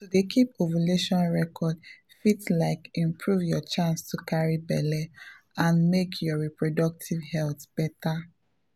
um to dey keep ovulation records dey support support natural family planning make your reproductive health better ah.